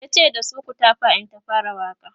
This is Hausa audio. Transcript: yace da su"ku tafa in ta fara Waƙa!"